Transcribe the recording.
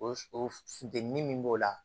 O o funtɛni min b'o la